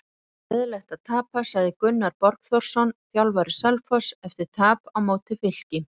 Bara leiðinlegt að tapa sagði Gunnar Borgþórsson þjálfari Selfoss eftir tap á móti Fylki.